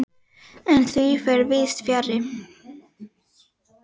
En því fer víðs fjarri.